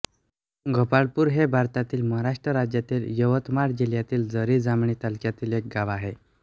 गोपाळपूर हे भारतातील महाराष्ट्र राज्यातील यवतमाळ जिल्ह्यातील झरी जामणी तालुक्यातील एक गाव आहे